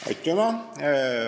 Aitüma!